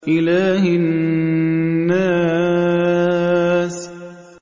إِلَٰهِ النَّاسِ